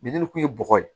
kun ye bɔgɔ ye